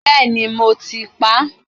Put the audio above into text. Bẹ́ẹ̀ni, mo ti pa